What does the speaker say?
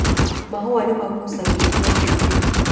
Mahũa nĩ magucagĩrĩria njũki.